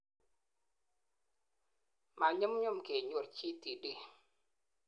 manyumnyum kenyor GTD